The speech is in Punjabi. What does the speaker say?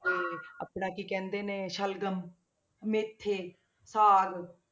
ਤੇ ਆਪਣਾ ਕੀ ਕਹਿੰਦੇ ਨੇ ਸ਼ਲਗਮ, ਮੇਥੇ, ਸਾਗ।